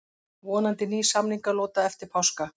Vonandi ný samningalota eftir páska